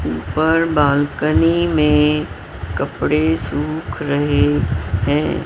ऊपर बालकनी में कपड़े सूख रहे हैं।